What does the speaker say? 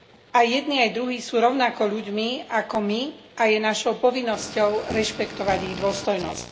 Aj jedni aj druhí sú rovnako ľuďmi ako my a je našou povinnosťou rešpektovať ich dôstojnosť.